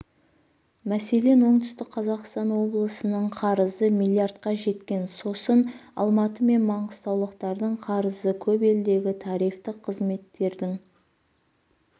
мәселен оңтүстік қазақстан облысының қарызы млрдқа жеткен сосын алматы мен маңғыстаулықтардың қарызы көп елдегі тарифтік қызметтердің